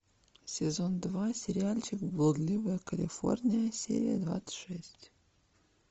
сезон два сериальчик блудливая калифорния серия двадцать шесть